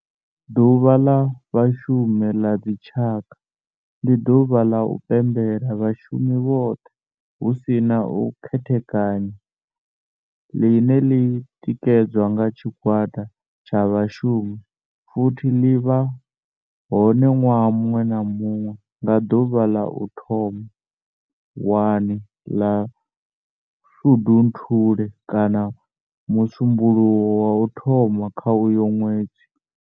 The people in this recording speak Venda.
Ḓuvha la Vhashumi la dzi tshaka, ndi duvha la u pembela vhashumi vhothe hu si na u khethekanya line li tikedzwa nga tshigwada tsha vhashumi futhi li vha hone nwaha munwe na munwe nga duvha la u thoma 1 la Shundunthule kana musumbulowo wa u thoma kha uyo nwedzi.